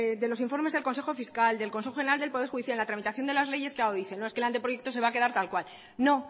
de los informes del consejo fiscal del consejo general del poder judicial la tramitación de las leyes claro dice no que el anteproyecto se va a quedar tal cual no